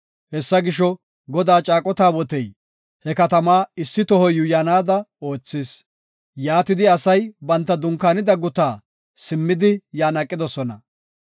Hessa gisho, Godaa caaqo taabotey he katamaa issi toho yuuyanaada oothis. Yaatidi asay banta dunkaanida guta simmidi, yan aqidosona.